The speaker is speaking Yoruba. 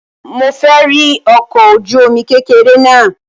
Mo fẹ́ rí ọkọ̀ ojú-omi kékeré náà